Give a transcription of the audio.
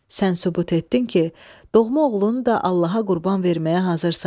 Sən sübut etdin ki, doğma oğlunu da Allaha qurban verməyə hazırsan.